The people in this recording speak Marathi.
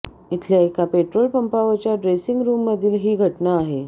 इथल्या एका पेट्रोल पंपावरच्या ड्रेसिंग रूममधली ही घटना आहे